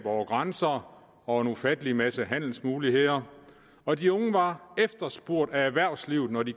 over grænser og en ufattelig masse handelsmuligheder og de unge var efterspurgt af erhvervslivet når de